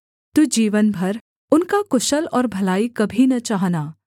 तू जीवन भर उनका कुशल और भलाई कभी न चाहना